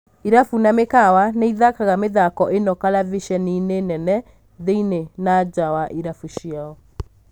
Irabu na mĩkawa nĩĩthakaga mĩthako ĩno kalavisheninĩ nene thĩinĩ na njaa wa irabu icio.